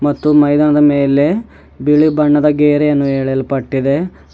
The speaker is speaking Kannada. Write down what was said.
ಮತ್ತು ಮೈದಾನದ ಮೇಲೆ ಬಿಳಿ ಬಣ್ಣದ ಗೇರೆಯನ್ನು ಎಳೆಯಲ್ಪಟ್ಟಿದೆ.